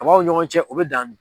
Kabaw ɲɔgɔn cɛ o be dan min